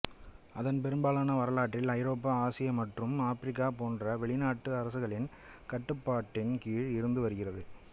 அதன் பெரும்பாலான வரலாற்றில் ஐரோப்பா ஆசியா மற்றும் ஆப்பிரிக்கா போன்ற வெளிநாட்டு அரசுகளின் கட்டுப்பாட்டின் கீழ் இருந்து வருகிறது